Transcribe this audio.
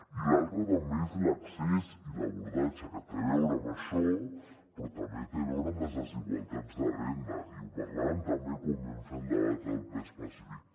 i l’altre també és l’accés i l’abordatge que té a veure amb això però també té a veure amb les desigualtats de renda i ho parlàvem també quan vam fer el debat al ple específic